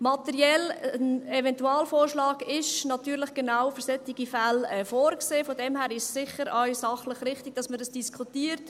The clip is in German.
Materiell: Ein Eventualvorschlag ist natürlich genau für solche Fälle vorgesehen, von daher ist es sachlich sicher auch richtig, dass man dies diskutiert.